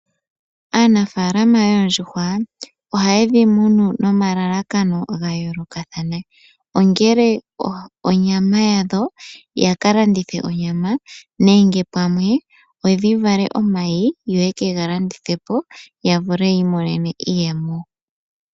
Aanafaalama yoondjuhwa, ohayedhi munu nomalalakano ga yoolokathana, ongele onyama yadho yaka landithe onyama, nenge pamwe odhi vale omayi yo yekega landithepo ya vule yi imonene iiyemo.